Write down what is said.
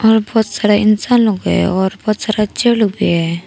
और बहुत सारा इंसान लोग भी है और बहुत सारा चेयर लोग भी है।